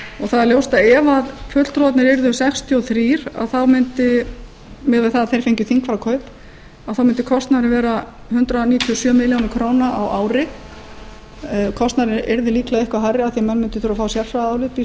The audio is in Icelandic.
það er ljóst að ef fulltrúarnir yrðu sextíu og þrjú mundi miðað við það að þeir fengju þingfararkaup þá mundi kostnaðurinn vera hundrað níutíu og sjö milljónir króna á ári kostnaðurinn yrði líklega eitthvað hærri af því að menn mundu þurfa að fá sérfræðiálit býst ég